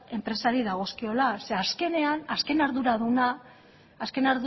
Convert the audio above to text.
enpresari dagozkiola zeren eta azkenean